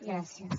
gràcies